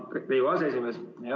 Aitäh, Riigikogu aseesimees!